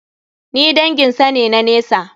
Ni dangin sa ne na nesa.